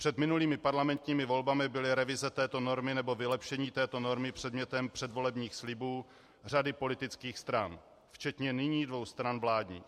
Před minulými parlamentními volbami byly revize této normy nebo vylepšení této normy předmětem předvolebních slibů řady politických stran, včetně nyní dvou stran vládních.